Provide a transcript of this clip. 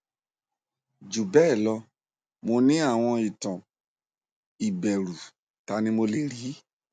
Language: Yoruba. jubelo mo ni awon itan iberu tani mo le ri